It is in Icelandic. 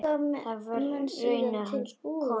Það var raunar konan hans.